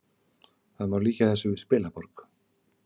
Það má líkja þessu við spilaborg